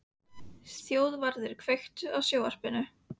Þjóðvarður, kveiktu á sjónvarpinu.